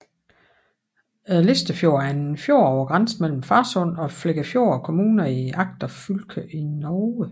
Listafjorden er en fjord på grænsen mellem Farsund og Flekkefjord kommuner i Agder fylke i Norge